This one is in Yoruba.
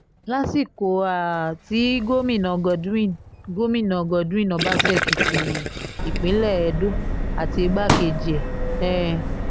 lásìkò um tí gómìnà godwin gómìnà godwin ọbaṣẹ́kì ti ìpínlẹ̀ edo àti igbákejì ẹ̀ um